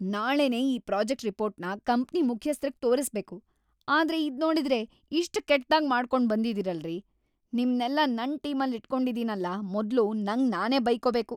ನಾಳೆನೇ ಈ ಪ್ರಾಜೆಕ್ಟ್‌ ರಿಪೋರ್ಟ್‌ನ ಕಂಪ್ನಿ ಮುಖ್ಯಸ್ಥ್ರಿಗ್‌ ತೋರಿಸ್ಬೇಕು, ಆದ್ರೆ ಇದ್ನೋಡಿದ್ರೆ ಇಷ್ಟ್‌ ಕೆಟ್ದಾಗ್‌ ಮಾಡ್ಕೊಂಡ್‌ಬಂದಿದೀರಲ್ರೀ! ನಿಮ್ನೆಲ್ಲ ನನ್‌ ಟೀಮಲ್ಲಿಟ್ಕೊಂಡಿದೀನಲ ಮೊದ್ಲು ನಂಗ್‌ ನಾನೇ ಬೈಕೋಬೇಕು.